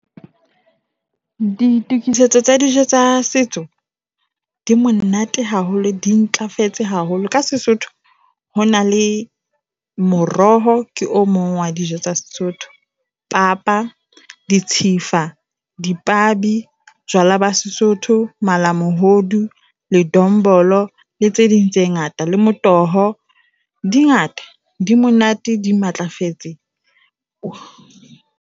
Ditokisetso tsa dijo tsa setso di monate haholo, di ntlafetse haholo. ka SeSotho ho na le moroho ke o mong wa dijo tsa Sesotho, papa, ditshifa, dipabi, jwala ba Sesotho, malamohodu, le dombolo le tse ding tse ngata. Le motoho di ngata, di monate, di matlafetseng.